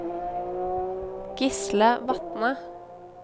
Gisle Vatne